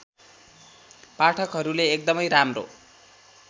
पाठकहरूले एकदमै राम्रो